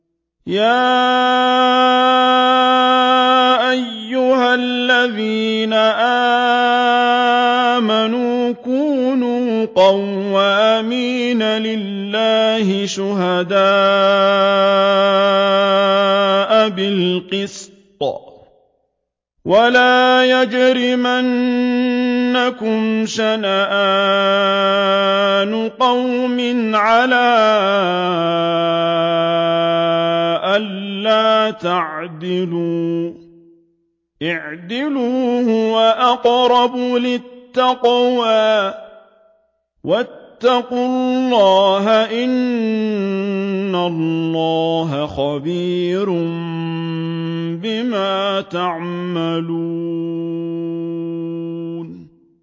يَا أَيُّهَا الَّذِينَ آمَنُوا كُونُوا قَوَّامِينَ لِلَّهِ شُهَدَاءَ بِالْقِسْطِ ۖ وَلَا يَجْرِمَنَّكُمْ شَنَآنُ قَوْمٍ عَلَىٰ أَلَّا تَعْدِلُوا ۚ اعْدِلُوا هُوَ أَقْرَبُ لِلتَّقْوَىٰ ۖ وَاتَّقُوا اللَّهَ ۚ إِنَّ اللَّهَ خَبِيرٌ بِمَا تَعْمَلُونَ